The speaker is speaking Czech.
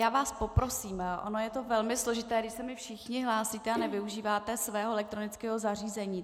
Já vás poprosím, ono je to velmi složité, když se mi všichni hlásíte a nevyužíváte svého elektronického zařízení.